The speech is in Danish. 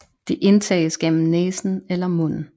Det indtages gennem næsen eller munden